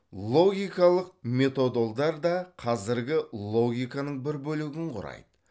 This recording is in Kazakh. логикалық методолдар да қазіргі логиканың бір бөлігін құрайды